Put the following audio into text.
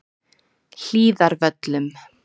Hlíðarvöllum